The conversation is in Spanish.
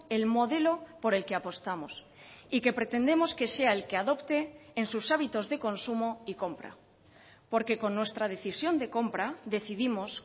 el modelo por el que apostamos y que pretendemos que sea el que adopte en sus hábitos de consumo y compra porque con nuestra decisión de compra decidimos